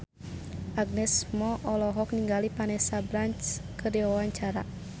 Agnes Mo olohok ningali Vanessa Branch keur diwawancara